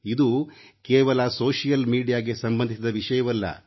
ಇದು ಕೇವಲ ಸಾಮಾಜಿಕ ಮಾಧ್ಯಮಕ್ಕೆ ಸಂಬಂಧಿಸಿದ ವಿಷಯವಲ್ಲ